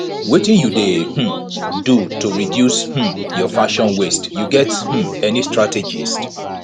wetin you dey um do to reduce um your fashion waste you get um any strategies